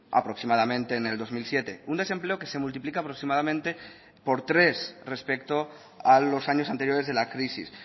aproximadamente en el dos mil siete un desempleo que se multiplica aproximadamente por tres respecto a los años anteriores de la crisis